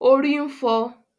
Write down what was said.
Orí ń fọ